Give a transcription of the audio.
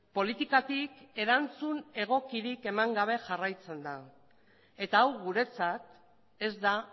politikatik erantzun egokirik eman gabe jarraitzen da eta hau guretzat ez da